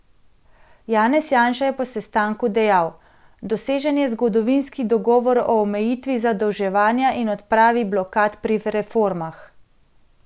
Janez Janša je po sestanku dejal: "Dosežen je zgodovinski dogovor o omejitvi zadolževanja in odpravi blokad pri reformah.